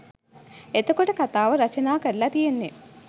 එතකොට කතාව රචනා කරලා තියෙන්නේ